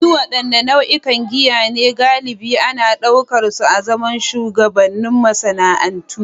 Su wadanne nau'ikan giya ne galibi ana daukar su azaman shugabannin masana'antu?